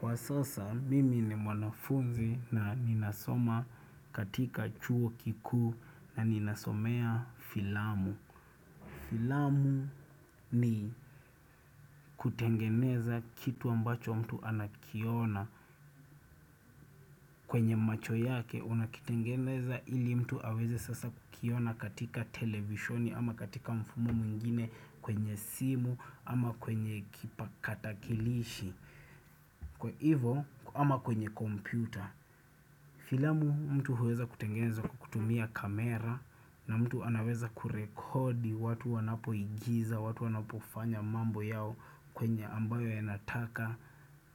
Kwa sasa, mimi ni mwanafunzi na ninasoma katika chuo kikuu na ninasomea filamu. Filamu ni kutengeneza kitu ambacho mtu anakiona kwenye macho yake unakitengeneza ili mtu aweze sasa kukiona katika televishoni ama katika mfumo mwngine kwenye simu ama kwenye kipakatakilishi. Kwa hivo ama kwenye kompyuta. Filamu mtu huweza kutengeza kutumia kamera. Na mtu anaweza kurekodi watu wanapoigiza, watu wanapofanya mambo yao kwenye ambayo yanataka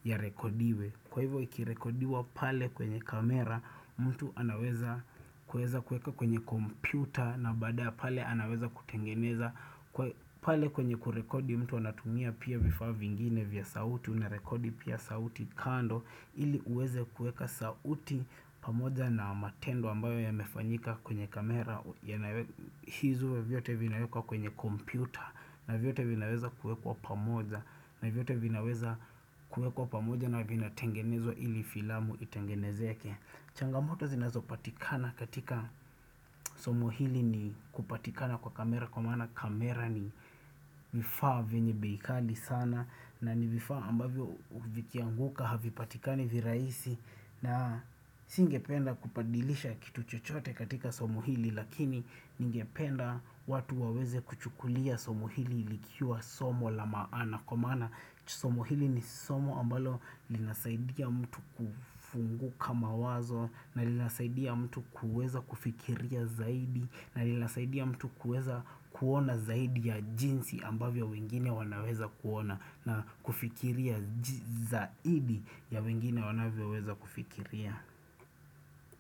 yarekodiwe, Kwa hivo ikirekodiwa pale kwenye kamera, mtu anaweza kuweza kueka kwenye kompyuta na baada pale anaweza kutengeneza, Kwa pale kwenye kurekodi mtu anatumia pia vifaa vingine vya sauti, Unarekodi pia sauti kando ili uweze kueka sauti pamoja na matendo ambayo yamefanyika kwenye kamera hizo vyote vinawekwa kwenye kompyuta na vyote vinaweza kuekwa pamoja na vyote vinaweza kuekwa pamoja na vinatengenezwa ili filamu itengenezeke changamoto zinazopatikana katika somo hili ni kupatikana kwa kamera Kwa maana kamera ni vifaa vwenye bei kali sana na ni vifaa ambavyo vikianguka havipatikani virahisi na singependa kubadilisha kitu chochote katika somo hili lakini ningependa watu waweze kuchukulia somo hili likiwa somo la maana kwa maana somo hili ni somu ambalo linasaidia mtu kufunguka mawazo na linasaidia mtu kuweza kufikiria zaidi na linasaidia mtu kuweza kuona zaidi ya jinsi ambavyo wengine wanaweza kuona na kufikiria zaidi ya wengine wanavyoweza kufikiria.